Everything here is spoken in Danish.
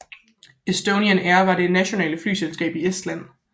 Estonian Air var det nationale flyselskab i Estland